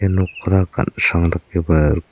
ia nokora gansrang dakeba rik--